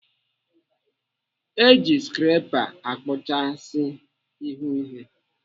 Eji skrepa akpụchasị ihu ihe.